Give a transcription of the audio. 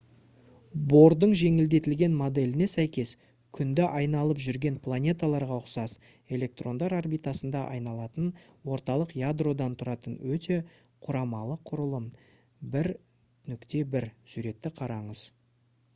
бордың жеңілдетілген моделіне сәйкес күнді айналып жүрген планеталарға ұқсас электрондар орбитасында айналатын орталық ядродан тұратын өте құрамалы құрылым - 1.1 суретті қараңыз